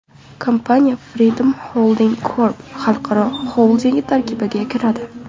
Kompaniya Freedom Holding Corp. xalqaro xoldingi tarkibiga kiradi.